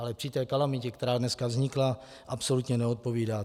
Ale při té kalamitě, která dneska vznikla, absolutně neodpovídá.